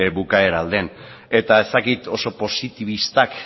bukaera aldean eta ez dakit oso positibistak